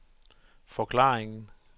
forklaringen